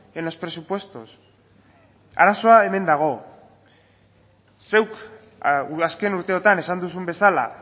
en los presupuestos arazoa hemen dago zeuk azken urteotan esan duzun bezala